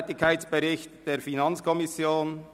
«Tätigkeitsbericht […] der Finanzkommission».